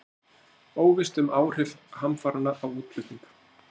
Óvíst um áhrif hamfaranna á útflutning